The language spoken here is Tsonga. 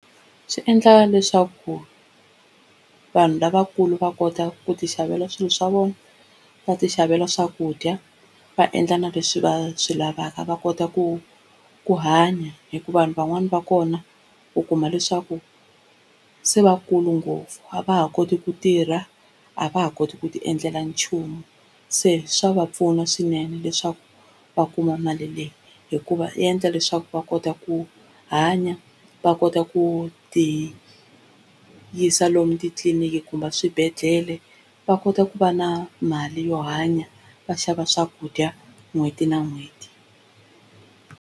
Swi endla leswaku vanhu lavakulu va kota ku ti xavela swilo swa vona va ti xavela swakudya va endla na leswi va swi lavaka va kota ku ku hanya, hikuva vanhu van'wani va kona u kuma leswaku se vakulu ngopfu a va ha koti ku tirha a va ha koti ku tiendlela nchumu, se swa va pfuna swinene leswaku va kuma mali leyi hikuva yi endla leswaku va kota ku hanya va kota ku ti yisa lomu titliliniki kumbe a swibedhlele va kota ku va na mali yo hanya va xava swakudya n'hweti na n'hweti.